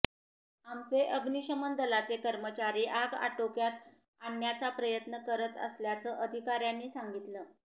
आमचे अग्निशमन दलाचे कर्मचारी आग आटोक्यात आणण्याचा प्रयत्न करत असल्याचं अधिकाऱ्यांनी सांगितलं